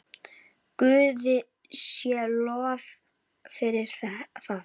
Guði sé lof fyrir það.